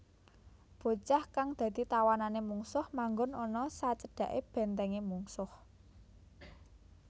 Bocah kang dadi tawanané mungsuh manggon ana sajedhaké bèntèngé mungsuh